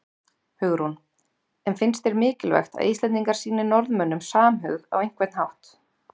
Hugrún: En finnst þér mikilvægt að Íslendingar sýni Norðmönnum samhug á einhvern hátt?